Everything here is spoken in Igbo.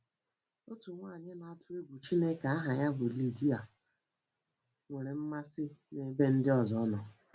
Otu nwaanyị na-atụ egwu Chineke aha ya bụ Lidia nwere mmasị n’ebe ndị ọzọ nọ.